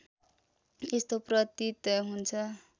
यस्तो प्रतीत हुन्छ